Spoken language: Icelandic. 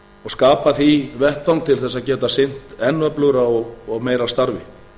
og skapa því vettvang til að geta sinnt enn öflugra og meira starfi